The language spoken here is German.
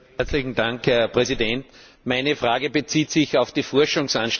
Meine Frage bezieht sich auf die Forschungsanstrengungen der Europäischen Union.